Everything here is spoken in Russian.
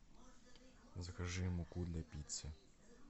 закажи муку для пиццы